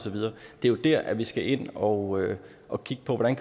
det er her hvor vi skal ind og og kigge på hvordan